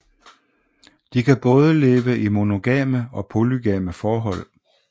De kan både leve i monogame og polygame forhold